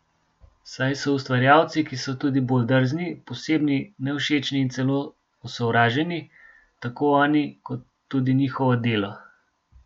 Saj so ustvarjalci, ki so tudi bolj drzni, posebni, nevšečni in celo osovraženi, tako oni kot tudi njihovo delo.